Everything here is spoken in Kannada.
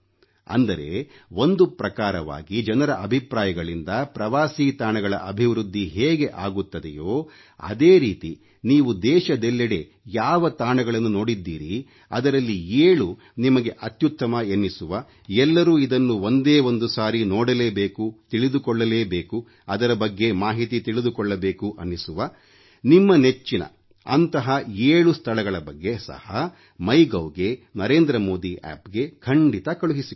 ಅಂದರೆ ಒಂದು ಪ್ರಕಾರವಾಗಿ ಜನರ ಅಭಿಪ್ರಾಯಗಳಿಂದ ಪ್ರವಾಸೀ ತಾಣಗಳ ಅಭಿವೃದ್ಧಿ ಹೇಗೆ ಆಗುತ್ತದೆಯೋ ಅದೇ ರೀತಿ ನೀವು ದೇಶದೆಲ್ಲೆಡೆ ಯಾವ ತಾಣಗಳನ್ನು ನೋಡಿದ್ದೀರಿ ಅದರಲ್ಲಿ 7 ನಿಮಗೆ ಅತ್ಯುತ್ತಮ ಎನ್ನಿಸುವ ಎಲ್ಲರೂ ಇದನ್ನು ಒಂದೇ ಒಂದು ಸರಿ ನೋಡಲೇಬೇಕು ತಿಳಿದುಕೊಳ್ಳಬೇಕು ಅದರ ಬಗ್ಗೆ ಮಾಹಿತಿ ತಿಳಿದುಕೊಳ್ಳಬೇಕು ಅನ್ನಿಸುವ ನಿಮ್ಮ ನೆಚ್ಚಿನ ಅಂತಹ 7 ಸ್ಥಳಗಳ ಬಗ್ಗೆ ಸಹ MyGovಗೆ NarendraModiAppಗೆ ಖಂಡಿತ ಕಳುಹಿಸಿಕೊಡಿ